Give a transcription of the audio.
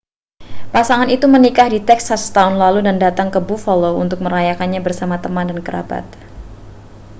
pasangan itu menikah di texas setahun lalu dan datang ke buffalo untuk merayakannya bersama teman dan kerabat